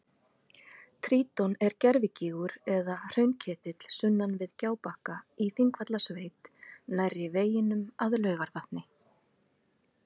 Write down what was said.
Tintron er gervigígur eða hraunketill sunnan við Gjábakka í Þingvallasveit nærri veginum að Laugarvatni.